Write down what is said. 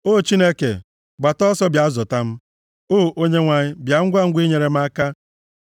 O Chineke, gbata ọsọ bịa zọpụta m, O Onyenwe anyị, bịa ngwangwa inyere m aka.